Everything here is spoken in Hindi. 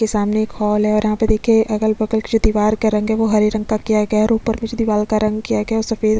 के सामने एक हॉल है और यहाँ पे देखिए अगल बगल के जो दिवार का रंग है वो हरे रंग का किया गया है और ऊपर में जो दिवाल का रंग किया गया है वो सफ़ेद --